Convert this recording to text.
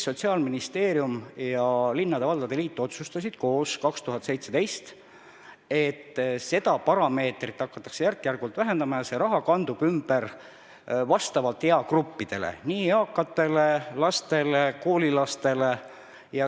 Sotsiaalministeerium ning linnade ja valdade liit otsustasid 2017. aastal koos, et seda parameetrit hakatakse järk-järgult vähendama ja see raha kandub ümber eagruppidele: eakatele, lastele, koolilastele.